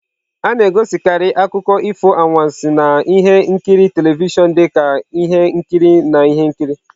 A na-egosikarị akụkọ ifo anwansi na ihe nkiri telivishọn dị ka ihe nkiri na ihe nkiri.